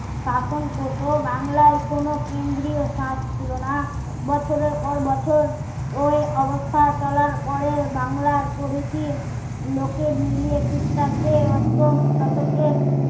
শাসন করতো বাংলার কোনো কেন্দ্রীয় সাত ছিলো না বছরে পর বছর ওই অবস্থা চলার পরে বাংলার প্রকৃতি লোকে মিলে ক্রিস্টাব্দে অষ্টম শতকের